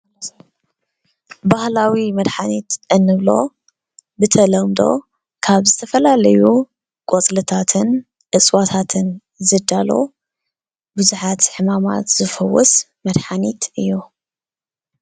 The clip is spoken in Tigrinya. ባህላዊ መድሓኒት እንብሎ ብተለምዶ ካብ ዝተፈላለዩ ቆፅልታትን እፅዋታትን ዝዳሎ ብዙሓት ሕማማት ዝፍውስ መድሓኒት እዩ፡፡